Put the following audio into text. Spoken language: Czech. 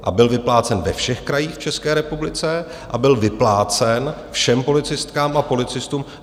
A byl vyplácen ve všech krajích v České republice a byl vyplácen všem policistkám a policistům.